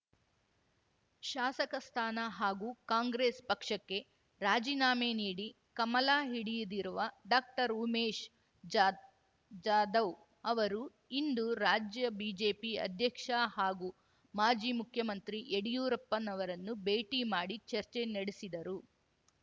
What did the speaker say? ಶಾಸಕ ಸ್ಥಾನ ಹಾಗೂ ಕಾಂಗ್ರೆಸ್ ಪಕ್ಷಕ್ಕೆ ರಾಜೀನಾಮೆ ನೀಡಿ ಕಮಲ ಹಿಡಿಯ್ದಿರುವ ‌ಡಾಕ್ಟರ್ ಉಮೇಶ್ ಜಾದ್ ಜಾಧವ್ ಅವರು ಇಂದು ರಾಜ್ಯ ಬಿಜೆಪಿ ಅಧ್ಯಕ್ಷ ಹಾಗೂ ಮಾಜಿ ಮುಖ್ಯಮಂತ್ರಿ ಯಡಿಯೂರಪ್ಪನವರನ್ನು ಭೇಟಿ ಮಾಡಿ ಚರ್ಚೆ ನಡೆಸಿದರು